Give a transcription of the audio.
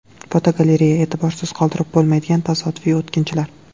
Fotogalereya: E’tiborsiz qoldirib bo‘lmaydigan tasodifiy o‘tkinchilar.